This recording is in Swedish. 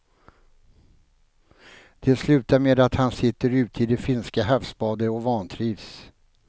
Det slutar med att han sitter ute i det finska havsbandet och vantrivs.